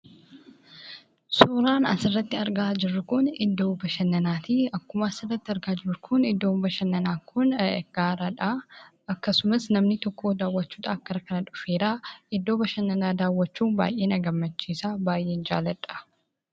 Suuraan asirratti argaa jirru Kun, iddoo bashannanaati. Akkuma asirratti argaa jirru Kun Iddoon bashannanaa kun gaaradha akkasumas namni tokko daawwachuudhaaf gara kana dhufeeraa. Iddoo bashannanaa daawwachuun baayyee na gammachiisa, baayyeen jaalladha.